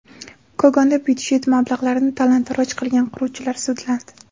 Kogonda byudjet mablag‘larini talon-taroj qilgan quruvchilar sudlandi.